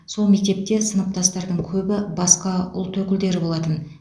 сол мектепте сыныптастардың көбі басқа ұлт өкілдері болатын